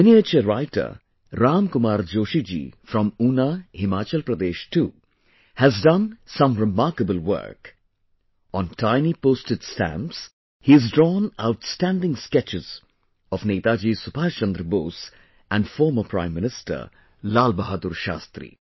Miniature Writer Ram Kumar Joshi ji from Una, Himachal Pradesh too has done some remarkable work...on tiny postage stamps, he has drawn outstanding sketches of Netaji Subhash Chandra Bose and former Prime Minister Lal Bahadur Shastri